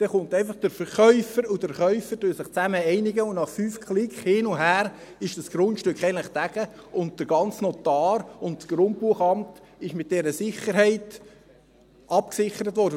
Dann kommt einfach der Verkäufer und der Käufer, die sich einigen, und nach fünf Klicks hin und her ist das Grundstück eigentlich «getagged», und der Notar und das Grundbuchamt sind mit dieser Sicherheit abgesichert worden.